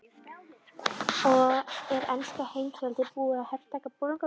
Er enska heimsveldið búið að hertaka Bolungarvík?